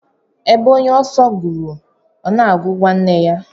Ebe onye oso ruru, ona agu nwanne ya.